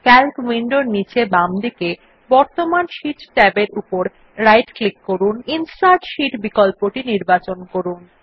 Calc উইন্ডোর নীচে বামদিকে বর্তমান শীট ট্যাবের উপর ডান ক্লিক করুন এবং ইনসার্ট শীট বিকল্পটি নির্বাচন করুন